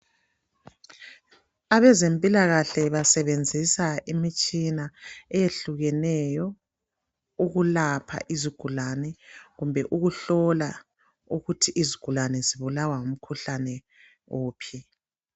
Abezempilakahle basebenzisa imitshina ehlukeneyo ukwelapha izigulane kumbe ukuhlola ukuthi izigulane zibulawa ngumkhuhlane wuphi.